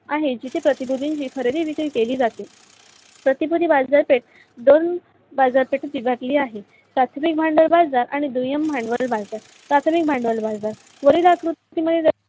आहे. जिथे प्रतिकृतीची खरेदी विक्री केली जाते. प्रतिकृती बाजार पेट दोन बाजार पेठेतील घातली आहे. प्राथमिक भांडाव बाजार आणि दुय्यम भांडावल बाजार. प्राथमिक भांडाव ल बाजार